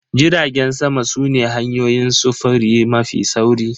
Jiragen sama su ne hanyoyin sufuri mafi sauri.